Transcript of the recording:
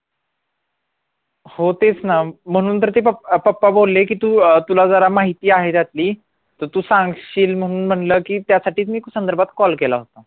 हो तेच ना म्हणून तर ते पप्पा बोलले की तू अं तुला जरा माहिती आहे त्यातली तर तू सांगशील म्हणून म्हंटल की त्यासाठी मी त्या संधार्बत call केला होता